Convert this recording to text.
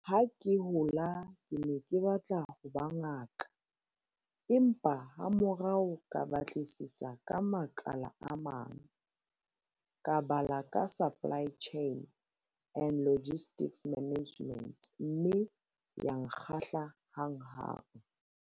"Ha ke hola ke ne ke batla ho ba ngaka, empa hamorao ka batlisisa ka makala a mang. Ka bala ka supply chain and logistics management mme ya nkgahla hanghang."